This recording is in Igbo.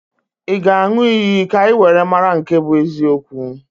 Ị ga-aṅụ iyi ka anyị wee mara nke bụ eziokwu